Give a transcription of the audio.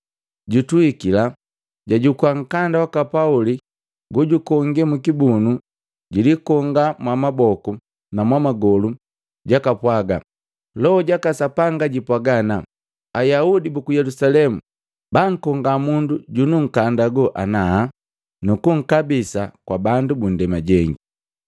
Jutuhikila, jajukua nkanda waka Pauli lojukonge mukibunu, jilikonga mwamaboku na mwamagolu, jakapwaga, “Loho jaka Sapanga jipwaga ana, ‘Ayaudi buku Yelusalemu bankonga mundu jununkanda ago ana nukunkabisa kwa bandu bu ndema jengi.’ ”